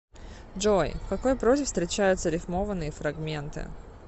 джой в какой прозе встречаются рифмованные фрагменты